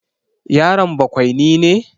Yaron bakwaini ne?